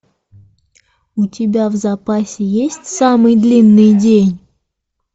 у тебя в запасе есть самый длинный день